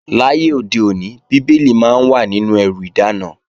Láyé òde òní, Bíbélì máa ń wà nínú ẹrù ìdáná